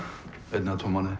einn eða tvo mánuði